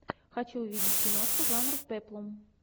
хочу увидеть киношку жанр пеплум